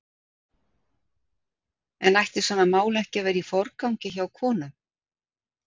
En ætti svona mál ekki að vera í forgangi hjá konum?